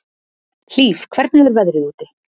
Hlíf, hvernig er veðrið úti?